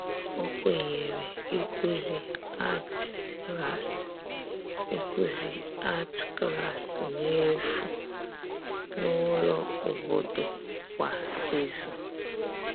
ọ Kwenyere ikuzi arti Klassi ikuzi arti Klassi n'efu n'ulo obodo kwa ịzụ